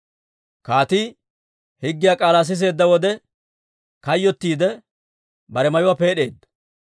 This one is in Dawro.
Kaatii higgiyaa k'aalaa siseedda wode, kayyottiide bare mayuwaa peed'eedda.